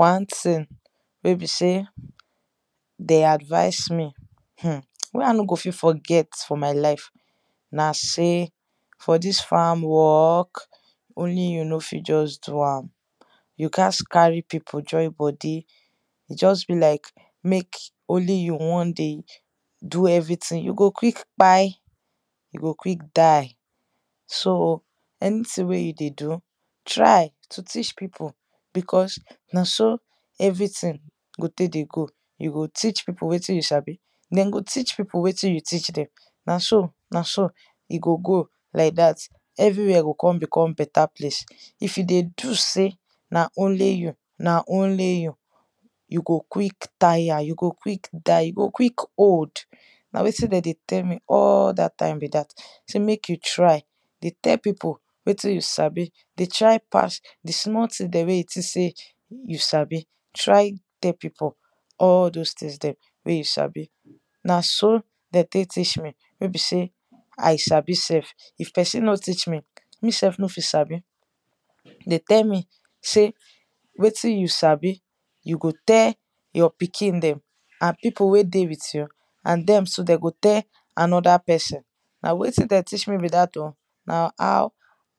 wan thing wey be sey de advice me um wey i no go fit forget for my life, na sey for dis farm work, only you no fit just do am, you gats carry pipu join bodi e just be like mek only yu one dey do everything, you go quik kpai, you go quick die. so anything wey you dey do, try to teach pipu because na so everything go tek dey go, you go teach pipu wettin you sabi, dem go teach pipu wetin you teac dem. nah so nah so e go go like dat everywhere go kon become beta place. if you dey do sey na only you, nah only you, you go quick tire, you go quick die you go quick old na wetin dey dey tell me all that time be dat sey mek you try dey tell pipu wetin you sabi, dey try pass di small thing dem wey you tink say you sabi, try tell pipol all those things dem wey you sabi. na so dey tey teach me wey be sey i sabi self, if peson no teach me self no fit sabi. dey tell me sey wetin you sabi you go tell your pikin dem and pipu wey dey wit you and dem too de go tell anoda pesin na wetin dem teach me be dat o na how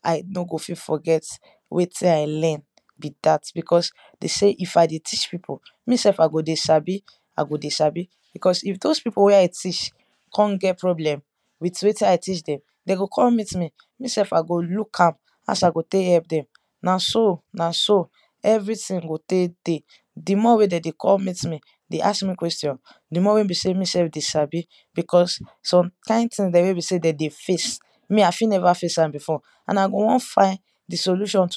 i no go fit forget wetin i learn. be dat because de sey if i dey teach pipu, me self i go dey sabi, i go dey sabi because if those pipu wey i teach, kon get problem with wetin i teach dem de go kon meet me, me self i go look am as i go tek help dem na so na so everything go tek dey. di more wey de go kon meet me dey ask me question di more wey be sey me self dey sabi because some kin thing dem wey be sey de dey face me i fi neva face am before and i go won fin di solution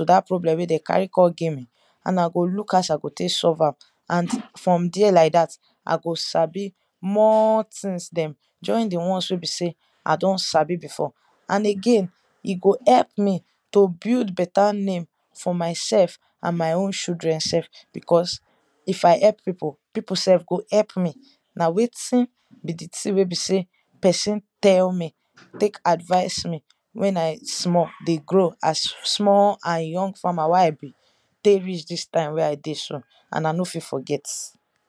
wey de kon carry con give me i go look as i go tek solve am and from there like dat i go sabi more things dem join di ones wey e sey i don sabi before. and again e go help me to build beta name for myself and my own shudren self because if i help pipu, pipu self go elp me nah wetin be di ting wey be sey pesin tell me tek advice me wen i small dey grow as small and young farmer wey i be, tey reach this time wey i dey so and i no fit forget